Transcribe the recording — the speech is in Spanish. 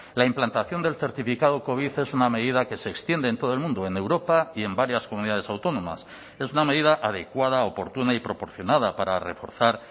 la implantación del certificado covid es una medida que se extiende en todo el mundo en europa y en varias comunidades autónomas es una medida adecuada oportuna y proporcionada para reforzar